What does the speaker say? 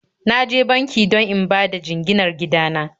Na je banki don in bada jinginar gida na